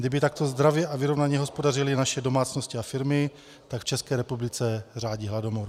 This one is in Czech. Kdyby takto zdravě a vyrovnaně hospodařily naše domácnosti a firmy, tak v České republice řádí hladomor.